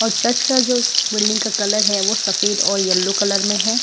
और चर्च का जो बिल्डिंग का कलर है वो सफेद और येलो कलर में है ।